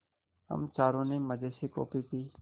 हम चारों ने मज़े से कॉफ़ी पी